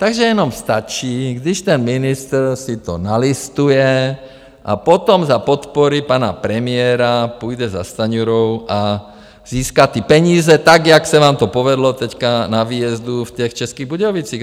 Takže jenom stačí, když ten ministr si to nalistuje a potom za podpory pana premiéra půjde za Stanjurou a získá ty peníze, tak jak se vám to povedlo teď na výjezdu v těch Českých Budějovicích.